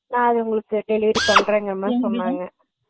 நா உங்களுக்கு delivery பண்றேன் அப்பிடின்னு